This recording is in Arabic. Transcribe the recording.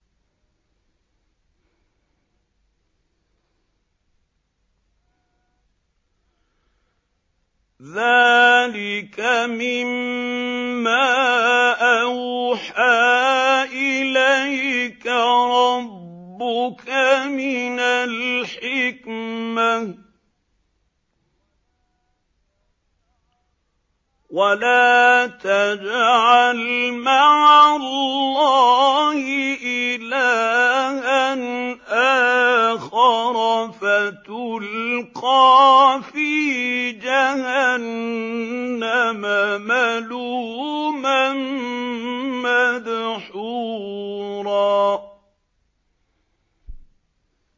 ذَٰلِكَ مِمَّا أَوْحَىٰ إِلَيْكَ رَبُّكَ مِنَ الْحِكْمَةِ ۗ وَلَا تَجْعَلْ مَعَ اللَّهِ إِلَٰهًا آخَرَ فَتُلْقَىٰ فِي جَهَنَّمَ مَلُومًا مَّدْحُورًا